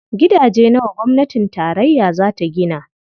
Gidaje nawa gwamnatin tarayya za ta gina?